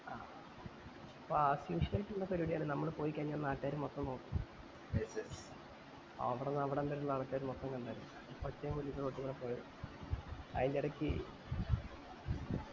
ആഹ് അപ്പൊ as usual ഇല്ല പരിപാടിയാണ് നമ്മൾ പോയി കൈഞ്ഞാല് നാറ്റിക്കര് മൊത്തം നോക്കും അവടന്ന് അവടെന്തേല് നടന്ന നാട്ടുകാര് മൊത്തം കണ്ടായിരുന്നു പചേമ് വെള്ളേം ഇട്ടോണ്ട് റോട്ടിൽ കൂടെ പോയെ അയിൻറെടക്ക്